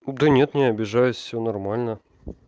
да нет не обижаюсь всё нормально